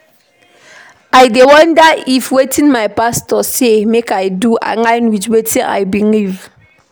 I dey wonder if wetin my pastor say make I do align wit wetin I believe.